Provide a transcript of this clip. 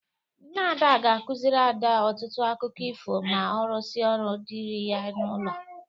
Nne Ada ga-akụziri Ada ọtụtụ akụkọ ifo ma ọ rụsịa ọrụ dịrị ya n'ụlọ.